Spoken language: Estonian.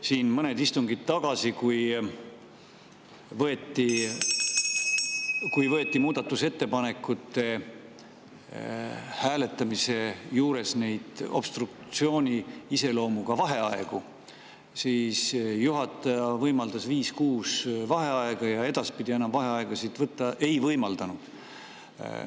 Siin mõned istungid tagasi, kui võeti muudatusettepanekute hääletamise juures obstruktsioonilise iseloomuga vaheaegu, võimaldas juhataja viis-kuus vaheaega ja edaspidi enam vaheaegasid võtta ei võimaldanud.